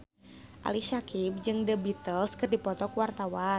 Ali Syakieb jeung The Beatles keur dipoto ku wartawan